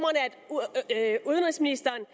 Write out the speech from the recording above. jeg at udenrigsministeren